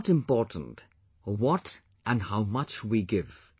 It is not important what and how much we give